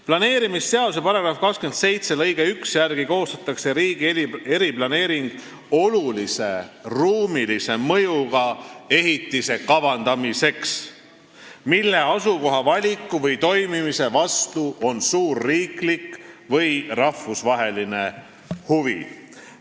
" Planeerimisseaduse § 27 lõike 1 järgi koostatakse riigi eriplaneering olulise ruumilise mõjuga ehitise kavandamiseks, mille asukoha valiku või toimimise vastu on suur riiklik või rahvusvaheline huvi.